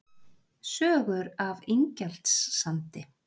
Sögur af Ingjaldssandi